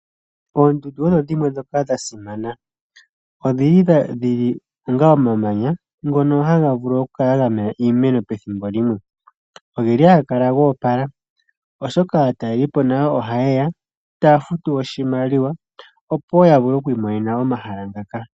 Oondundu odho dhimwe ndhoka dhasimana. Odhili dhi li onga omamanya ngono haga vulu okukala ga mena iimeno ethimbo limwe. Ohaga kala go opala oshoka aatalelelipo nayo ohaye ya, taya futu oshimaliwa opo wo ya vule oku imonena omahala ngaka.